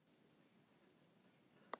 Sjálfur er hann á nýjum skóm.